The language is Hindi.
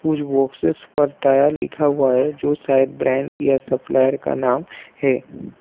कुछ बॉक्सेस पर टायल लिखा हुआ है जो शायद ब्रांड या सप्लायर का नाम है।